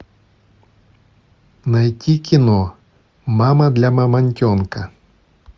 найти кино мама для мамонтенка